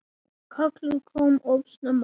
Kallið kom of snemma.